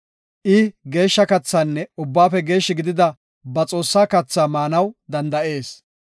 I geeshsha kathaanne Ubbaafe geeshshi gidida ba Xoossaa kathaa maanaw danda7ees.